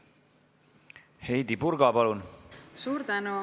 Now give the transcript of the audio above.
Heidy Purga, palun!